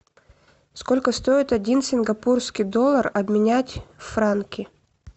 сколько стоит один сингапурский доллар обменять в франки